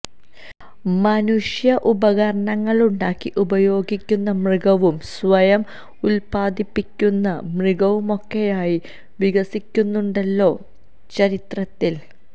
മനുഷ്യന് ഉപകരണങ്ങളുണ്ടാക്കി ഉപയോഗിക്കുന്ന മൃഗവും സ്വയം ഉല്പാദിപ്പിക്കുന്ന മൃഗവുമൊക്കെയായി വികസിക്കുന്നുണ്ടല്ലോ ചരിത്രത്തില്